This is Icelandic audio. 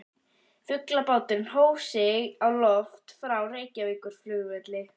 Flugbáturinn hóf sig á loft frá Reykjavíkurflugvelli.